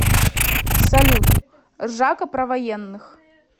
салют ржака про военных